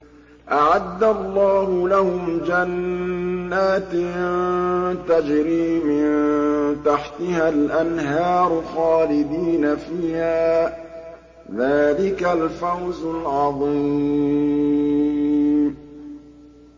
أَعَدَّ اللَّهُ لَهُمْ جَنَّاتٍ تَجْرِي مِن تَحْتِهَا الْأَنْهَارُ خَالِدِينَ فِيهَا ۚ ذَٰلِكَ الْفَوْزُ الْعَظِيمُ